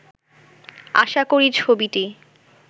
আশা করি ছবিটি